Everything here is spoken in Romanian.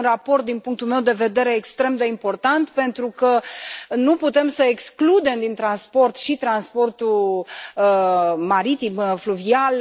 Este un raport din punctul meu de vedere extrem de important pentru că nu putem să excludem din transport și transportul maritim, fluvial.